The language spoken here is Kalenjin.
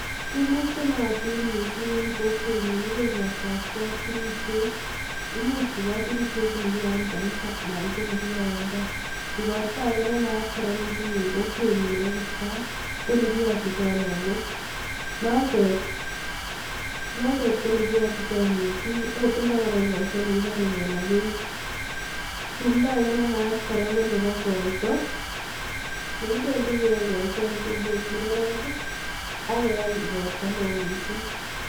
Tumwek chenaatin mising Eng kokweny nyuu KO tumwek chepakipkaaaa ,tumndo age be Maat KO.koito